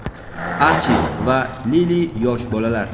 Archi va Lili yosh bolalar.